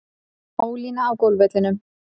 Ólína á golfvellinum.